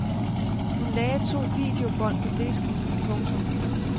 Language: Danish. Hun lagde to videobånd på disken. punktum